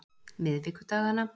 miðvikudagana